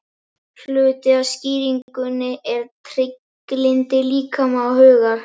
Hluti af skýringunni er trygglyndi líkama og hugar.